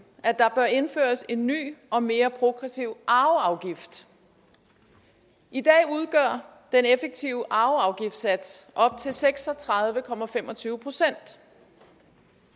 at der bør indføres en ny og mere progressiv arveafgift i dag udgør den effektive arveafgiftssats op til seks og tredive procent